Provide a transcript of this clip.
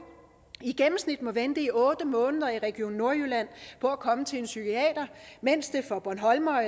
i gennemsnit må vente i otte måneder i region nordjylland på at komme til en psykiater mens det for bornholmere